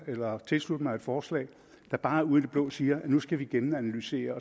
eller tilslutte mig et forslag der bare ud i det blå siger at nu skal vi gennemanalysere